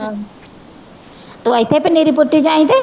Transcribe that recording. ਤੂੰ ਇੱਥੇ ਪਨੀਰੀ ਪੁੱਟੀ ਜਾਈਂ ਤੇ